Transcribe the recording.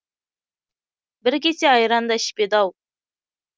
бір кесе айран да ішпеді ау